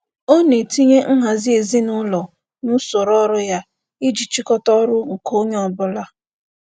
Ọ na-etinye nhazi ezinaụlọ n'usoro ọrụ ya iji chịkọta ọrụ nke onye ọbụla.